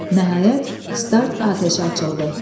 Nəhayət, start atəşi açıldı.